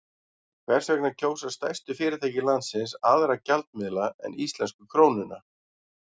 Hvers vegna kjósa stærstu fyrirtæki landsins aðra gjaldmiðla en íslensku krónuna?